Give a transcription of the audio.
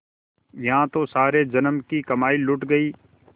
यहाँ तो सारे जन्म की कमाई लुट गयी